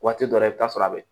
Waati dɔ la i bɛ taa sɔrɔ a bɛ